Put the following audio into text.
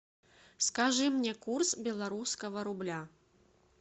скажи мне курс белорусского рубля